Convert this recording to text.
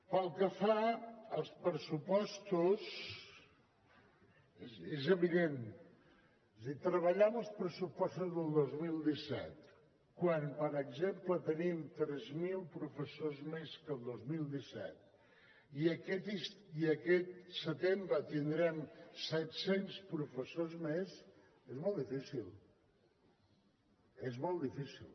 pel que fa als pressupostos és evident és a dir treballar amb els pressupostos del dos mil disset quan per exemple tenim tres mil professors més que al dos mil disset i aquest setembre tindrem set cents professors més és molt difícil és molt difícil